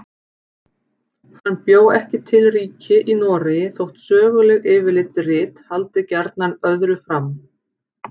Hann bjó ekki til ríki í Noregi þótt söguleg yfirlitsrit haldi gjarnan öðru fram.